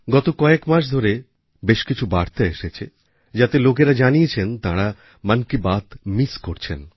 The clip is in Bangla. গত কয়েক মাস ধরে বেশ কিছু বার্তা এসেছে যাতে লোকেরা জানিয়েছেন তাঁরা মন কি বাত missকরছেন